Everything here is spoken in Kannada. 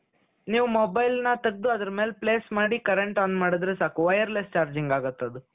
ನೀವು mobileನ ತೆಗೆದು ಅದರ ಮೇಲೆ ಪ್ಲೇಸ್ ಮಾಡಿ current on ಮಾಡುದ್ರೆ ಸಾಕು wireless charging ಆಗುತ್ತೆ ಅದು